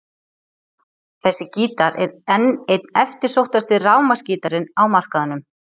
Þessi gítar er enn einn eftirsóttasti rafmagnsgítarinn á markaðnum.